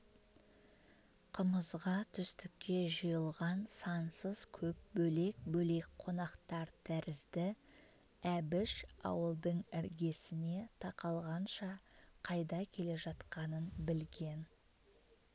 қымызға түстікке жиылған сансыз көп бөлек-бөлек қонақтар тәрізді әбіш ауылдың іргесіне тақалғанша қайда келе жатқанын білген